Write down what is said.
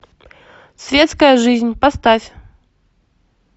светская жизнь поставь